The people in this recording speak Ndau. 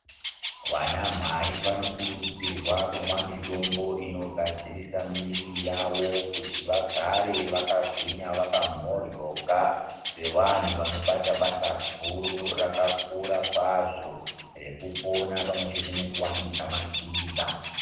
Vana mhai vanokurudzirwa kumwa mitombo inogadzirisa muwiri yawo kuti vagare vakagwinya vakamhoryoka sevanhu vanobata basa guru rakakura kwazvo rekupona pamwe chete nekuvandudza madzinza.